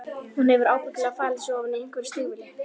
Hún hefur ábyggilega falið sig ofan í einhverju stígvéli.